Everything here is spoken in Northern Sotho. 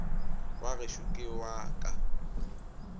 wa gešo ke wa ka